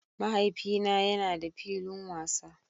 Mahaifina yana da filin wasa